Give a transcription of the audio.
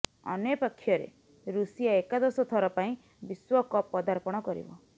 ଅନ୍ୟପକ୍ଷରେ ରୁଷିଆ ଏକାଦଶ ଥର ପାଇଁ ବିଶ୍ୱକପ୍ ପଦାର୍ପଣ କରିବ